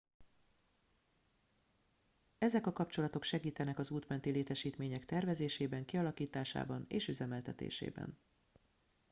ezek a kapcsolatok segítenek az út menti létesítmények tervezésében kialakításában és üzemeltetésében